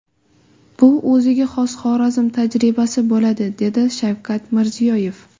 Bu o‘ziga xos Xorazm tajribasi bo‘ladi”, dedi Shavkat Mirziyoyev.